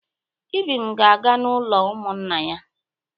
Ibim ga-aga n'ụlọ ụmụnna ya.